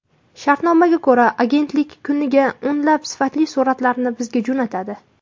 Shartnomaga ko‘ra, agentlik kuniga o‘nlab sifatli suratlarni bizga jo‘natadi.